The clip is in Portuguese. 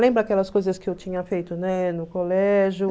Lembra aquelas coisas que eu tinha feito, né, no colégio?